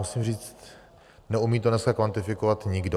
Musím říct, neumí to dneska kvantifikovat nikdo.